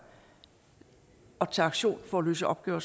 og tage aktion for at løse opgaver